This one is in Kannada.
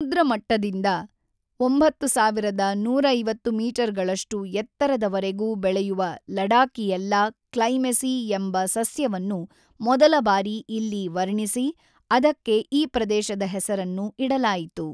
ಸಮುದ್ರ ಮಟ್ಟದಿಂದ ೬,೧೫೦ ಮೀಟರ್‌ಗಳಷ್ಟು ಎತ್ತರದವರೆಗೂ ಬೆಳೆಯುವ ಲಡಾಕಿಯೆಲ್ಲಾ ಕ್ಲೈಮೆಸಿ ಎಂಬ ಸಸ್ಯವನ್ನು ಮೊದಲ ಬಾರಿ ಇಲ್ಲಿ ವರ್ಣಿಸಿ, ಅದಕ್ಕೆ ಈ ಪ್ರದೇಶದ ಹೆಸರನ್ನು ಇಡಲಾಯಿತು.